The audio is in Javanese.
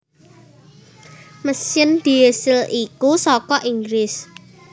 Mesin diesel iku saka Inggris